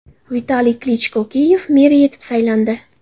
Vitaliy Klichko Kiyev meri etib saylandi.